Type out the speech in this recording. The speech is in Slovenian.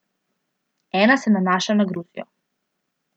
Ena se nanaša na Gruzijo.